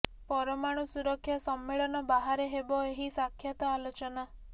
ପରମାଣୁ ସୁରକ୍ଷା ସମ୍ମେଳନ ବାହାରେ ହେବ ଏହି ସାକ୍ଷାତ ଆଲୋଚନା